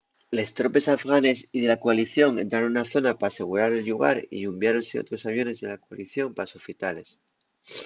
les tropes afganes y de la coalición entraron na zona p’asegurar el llugar y unviáronse otros aviones de la coalición pa sofitales